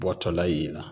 Bɔtɔla ye nɔ